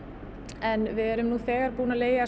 en við erum þegar búin að leigja